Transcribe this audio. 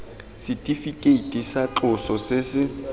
setifikeiti tsa tloso se se